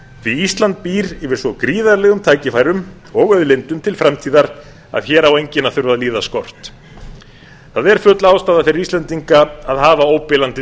því ísland býr yfir svo gríðarlegum tækifærum og auðlindum til framtíðar að hér á enginn að þurfa að líða skort það er full ástæða fyrir íslendinga til að hafa óbilandi trú